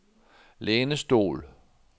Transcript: lænestol